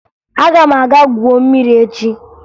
Aga m aga gwuo mmiri echi